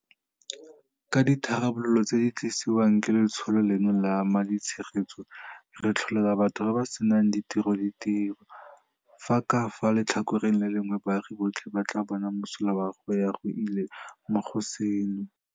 Ka ditharabololo tse di tlisiwang ke letsholo leno la ma ditshegetso, re tlholela batho ba ba senang ditiro ditiro, fa ka fa letlhakoreng le lengwe baagi botlhe ba tla bona mosola wa go ya go ile mo go seno.